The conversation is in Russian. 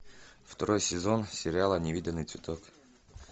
второй сезон сериала невиданный цветок